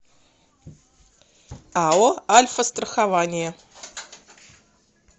ао альфастрахование